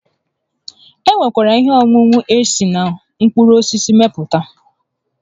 E nwekwara ihe ọṅụṅụ esi na mkpụrụ osisi emepụta